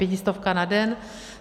Pětistovka na den.